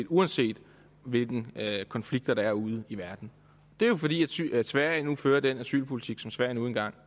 uanset hvilke konflikter der er ude i verden det er jo fordi sverige fører den asylpolitik som sverige nu engang